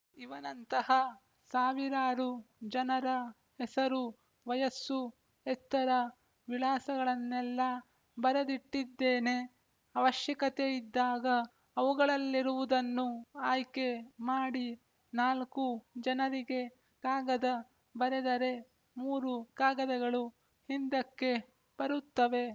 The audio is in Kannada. ಇವನಂತಹ ಸಾವಿರಾರು ಜನರ ಹೆಸರು ವಯಸ್ಸು ಎತ್ತರ ವಿಳಾಸಗಳನ್ನೆಲ್ಲ ಬರೆದಿಟ್ಟಿದ್ದೇನೆ ಅವಶ್ಯಕತೆಯಿದ್ದಾಗ ಅವುಗಳಲ್ಲಿರುವುದನ್ನು ಆಯ್ಕೆ ಮಾಡಿ ನಾಲ್ಕು ಜನರಿಗೆ ಕಾಗದ ಬರೆದರೆ ಮೂರು ಕಾಗದಗಳು ಹಿಂದಕ್ಕೆ ಬರುತ್ತವೆ